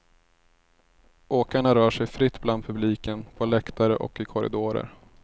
Åkarna rör sig fritt bland publiken på läktare och i korridorer.